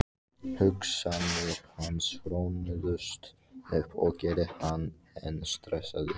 Hugsanir hans hrönnuðust upp og gerðu hann enn stressaðri.